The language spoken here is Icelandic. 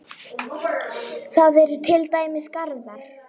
Þar eru til dæmis garðar.